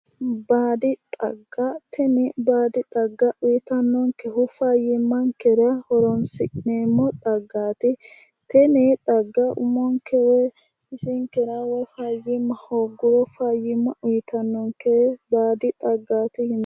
Baadi xagga, tini baadi xagga uyitannonkehu fayyimmankera horoonsi'neemmo xaggati. Tini xagga umonke woy bisinketa fayyimma hoogguro fayyimma uyitannonke baadi xagga.